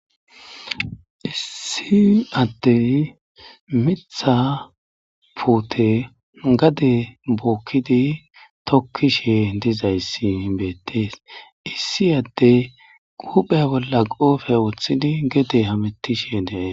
Issi addey miththa puute gade bookkidi tokkishe dizayssi beettes. Issi addey huphphiya bolla qoofe woththidi gede hametishe de'es.